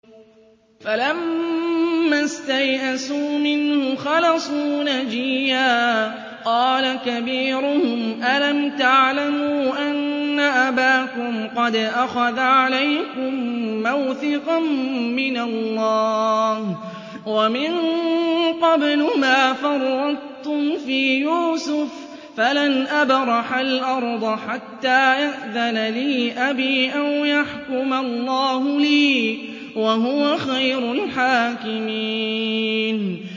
فَلَمَّا اسْتَيْأَسُوا مِنْهُ خَلَصُوا نَجِيًّا ۖ قَالَ كَبِيرُهُمْ أَلَمْ تَعْلَمُوا أَنَّ أَبَاكُمْ قَدْ أَخَذَ عَلَيْكُم مَّوْثِقًا مِّنَ اللَّهِ وَمِن قَبْلُ مَا فَرَّطتُمْ فِي يُوسُفَ ۖ فَلَنْ أَبْرَحَ الْأَرْضَ حَتَّىٰ يَأْذَنَ لِي أَبِي أَوْ يَحْكُمَ اللَّهُ لِي ۖ وَهُوَ خَيْرُ الْحَاكِمِينَ